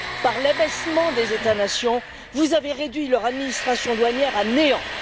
Par l'abaissement des États nations, vous avez réduit leurs administrations douanières à néant.